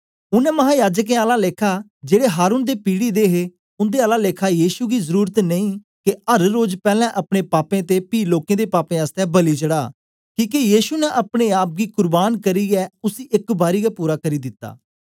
उनै महायाजकें आला लेखा जेड़े हारून दे पीढ़ी दे हे उन्दे आला लेखा यीशु गी जरुरत नेई के अर रोज पैलैं अपने पापें ते पी लोकें दे पापें आसतै बलि चढ़ा किके यीशु ने अपने आप गी कुर्बान करियै उसी एक बारी गै पूरा करी दिता